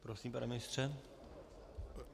Prosím, pane ministře.